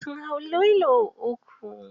Sun hau lilo uku.